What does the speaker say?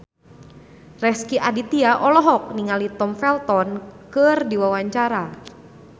Rezky Aditya olohok ningali Tom Felton keur diwawancara